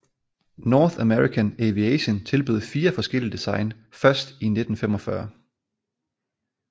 North American Aviation tilbød fire forskellige design først i 1945